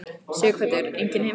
Sighvatur: Engin heimþrá?